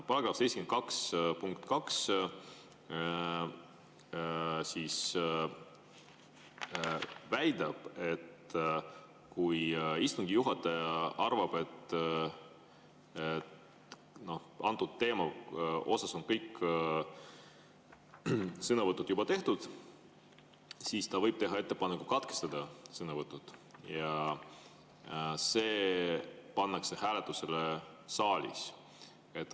Paragrahvi 72 punkt 2 väidab, et kui istungi juhataja arvab, et antud teema osas on kõik sõnavõtud juba tehtud, siis ta võib teha ettepaneku katkestada sõnavõtud ja see pannakse saalis hääletusele.